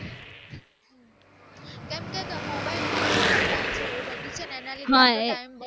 કેમ કે mobile માં instagram છે એવું બધું છે એના લીધે time